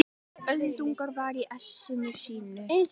Öldungurinn var í essinu sínu.